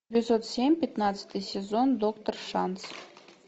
эпизод семь пятнадцатый сезон доктор шанс